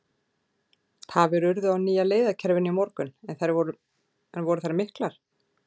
Tafir urðu á nýja leiðakerfinu í morgun en voru þær miklar?